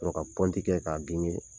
ka pɔnti kɛ k'a ginge.